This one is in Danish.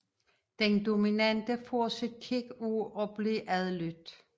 Den dominante får sit kick af at blive adlydt